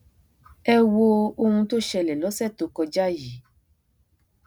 ẹ wo ohun tó ṣẹlẹ lọsẹ tó kọjá yìí